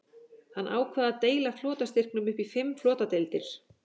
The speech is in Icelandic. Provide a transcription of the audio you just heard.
Hann ákvað að deila flotastyrknum upp í fimm flotadeildir.